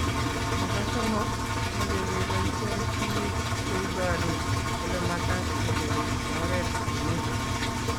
nebo somok, meche keboishen tuguk cheibaru olemagat ketebi eng oret komnyei